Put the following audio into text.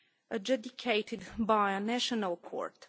adjudicated by a national court.